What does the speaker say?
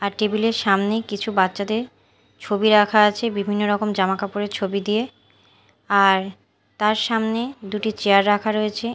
আর table -এর সামনে কিছু বাচ্চাদের ছবি আঁকা আছে বিভিন্ন রকম জামা কাপড়ের ছবি দিয়ে আর তার সামনে দুটি চেয়ার রাখা রয়েছে।